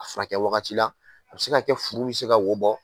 A furakɛ wagati la , a bɛ se ka kɛ furu bɛ se ka wo bɔ.